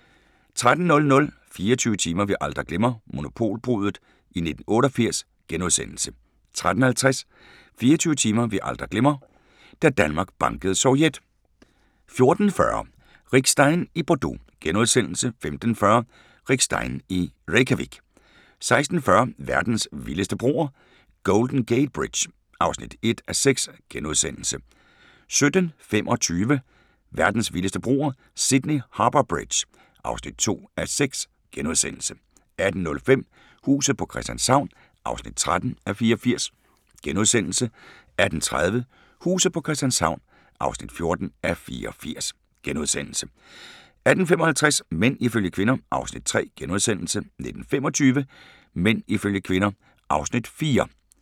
13:00: 24 timer vi aldrig glemmer: Monopolbruddet i 1988 * 13:50: 24 timer vi aldrig glemme: Da Danmark bankede Sovjet 14:40: Rick Stein i Bordeaux * 15:40: Rick Stein i Reykjavik 16:40: Verdens vildeste broer – Golden Gate Bridge (1:6)* 17:25: Verdens vildeste broer – Sydney Harbour Bridge (2:6)* 18:05: Huset på Christianshavn (13:84)* 18:30: Huset på Christianshavn (14:84)* 18:55: Mænd ifølge kvinder (Afs. 3)* 19:25: Mænd ifølge kvinder (Afs. 4)